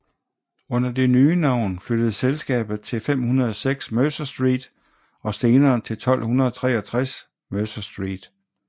Under det nye navn flyttede selskabet til 506 Mercer Street og senere til 1263 Mercer Street